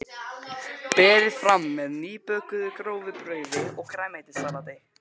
Berið fram með nýbökuðu grófu brauði og grænmetissalati.